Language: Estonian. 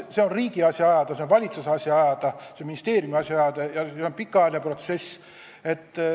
See on riigi asi ajada, see on valitsuse asi ajada, see on ministeeriumi asi ajada ja see on pikaajaline protsess.